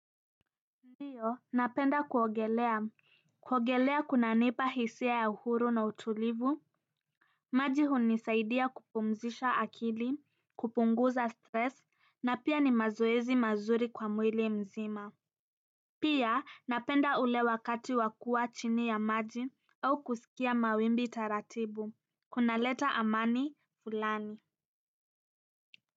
Ndi napenda kuogelea kuogelea kuna nipa hisia ya uhuru na utulivu maji hunisaidia kupumzisha akili kupunguza stress na pia ni mazoezi mazuri kwa mwili mzima pia napenda ule wakati wakua chini ya maji au kusikia mawimbi taratibu kuna leta amani fulani